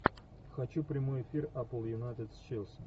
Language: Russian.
хочу прямой эфир апл юнайтед с челси